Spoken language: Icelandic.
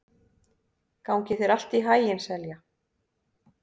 Gangi þér allt í haginn, Selja.